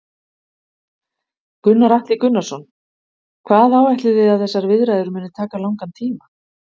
Gunnar Atli Gunnarsson: Hvað áætlið þið að þessar viðræður muni taka langan tíma?